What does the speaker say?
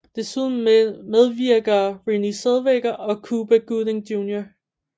Desuden medvirker Renée Zellweger og Cuba Gooding Jr